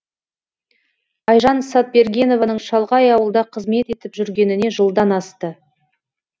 айжан сатбергенованың шалғай ауылда қызмет етіп жүргеніне жылдан асты